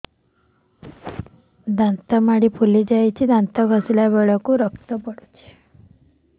ଦାନ୍ତ ମାଢ଼ୀ ଫୁଲି ଯାଉଛି ଦାନ୍ତ ଘଷିଲା ବେଳକୁ ରକ୍ତ ଗଳୁଛି